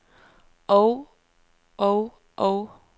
og og og